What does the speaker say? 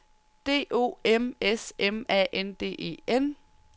D O M S M A N D E N